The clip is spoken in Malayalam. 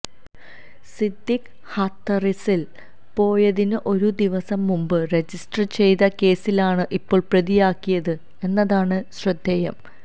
സിദ്ദിഖ് ഹാഥ്റസില് പോയതിന് ഒരു ദിവസം മുമ്പ് രജിസ്റ്റർ ചെയ്ത കേസിലാണ് ഇപ്പോള് പ്രതിയാക്കിയത് എന്നതാണ് ശ്രദ്ധേയം